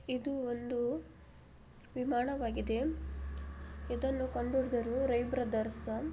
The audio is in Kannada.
ಇದು ಒಂದು ವಿಮಾನ ವಾಗಿದೆ ಇದನ್ನು ಕಂಡು ಹಿಡಿದವರು ರೈಟ್ ಬ್ರದರ್ಸ್ .